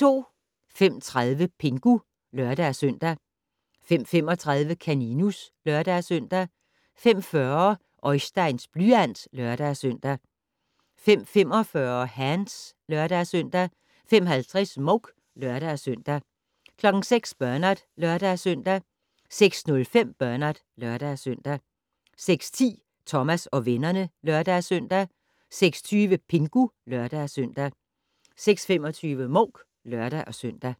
05:30: Pingu (lør-søn) 05:35: Kaninus (lør-søn) 05:40: Oisteins blyant (lør-søn) 05:45: Hands (lør-søn) 05:50: Mouk (lør-søn) 06:00: Bernard (lør-søn) 06:05: Bernard (lør-søn) 06:10: Thomas og vennerne (lør-søn) 06:20: Pingu (lør-søn) 06:25: Mouk (lør-søn)